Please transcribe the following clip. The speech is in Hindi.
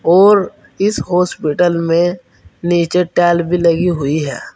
और इस हॉस्पिटल में नीचे टाइल भी लगी हुई है।